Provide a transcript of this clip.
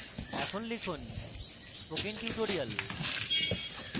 এখন লিখুন spoken tutorial